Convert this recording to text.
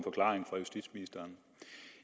forklaring fra justitsministeren